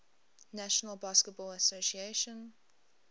national basketball association